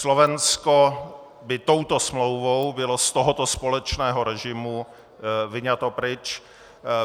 Slovensko by touto smlouvou bylo z tohoto společného režimu vyňato pryč.